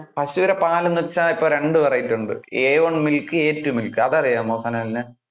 പശൂടെ പാലെന്നു വെച്ചാൽ ഇപ്പൊ രണ്ടു variety ഉണ്ട് a one milk, a two milk അത് അറിയാമോ സനലിന്?